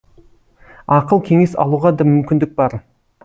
ақыл кеңес алуға да мүмкіндік бар